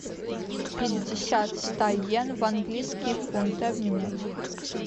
пятьдесят ста йен в английские фунты обменять